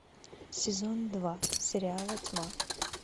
сезон два сериала тьма